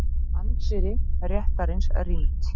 Anddyri réttarins rýmt